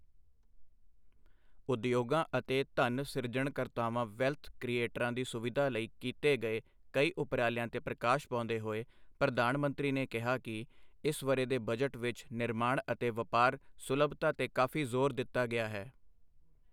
ਉਦਯੋਗਾਂ ਅਤੇ ਧਨ ਸਿਰਜਣਕਰਤਾਵਾਂ ਵੈਲਥ ਕ੍ਰਿਏਟਰਾਂ ਦੀ ਸੁਵਿਧਾ ਲਈ ਕੀਤੇ ਗਏ ਕਈ ਉਪਰਾਲਿਆਂ ਤੇ ਪ੍ਰਕਾਸ਼ ਪਾਉਂਦੇ ਹੋਏ, ਪ੍ਰਧਾਨ ਮੰਤਰੀ ਨੇ ਕਿਹਾ ਕਿ ਇਸ ਵਰ੍ਹੇ ਦੇ ਬਜਟ ਵਿੱਚ ਨਿਰਮਾਣ ਅਤੇ ਵਪਾਰ ਸੁਲਭਤਾ ਤੇ ਕਾਫੀ ਜ਼ੋਰ ਦਿੱਤਾ ਗਿਆ ਹੈ।